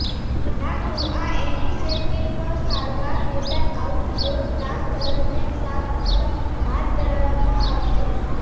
લાકડું આ એન્ટિસેપ્ટિક સારવાર મેદાન આઉટડોર કામ દરમિયાન સાફ પર હાથ ધરવામાં આવશે